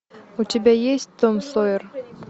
у тебя есть том сойер